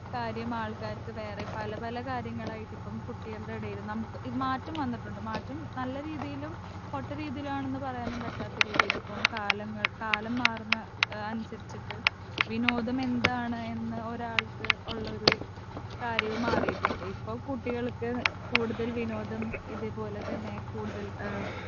speaker 2 കാര്യം ആൾക്കാർക്ക് വേറെ പല പല കാര്യങ്ങളായിട്ട് ഇപ്പം കുട്ടികൾടെ എടയിൽ നമ്മക്ക് ഇത് മാറ്റം വന്നിട്ടുണ്ട് മാറ്റം നല്ല രീതിയിലും പൊട്ട രീതിയിലാണെന്ന് പറയാൻ പറ്റാത്ത രീതിയിലിപ്പോ കാലങ്ങൾ കാലം മാറുന്ന എഹ് അനുസരിച്ചിട്ട് വിനോദം എന്താണ് എന്ന് ഒരാൾക്ക് ഓള്ളൊരു കാര്യവും മാറീട്ടുണ്ട് ഇപ്പൊ കുട്ടികൾക്ക് കൂടുതൽ വിനോദം ഇതേപോലതന്നെ കൂടുതൽ ഏഹ്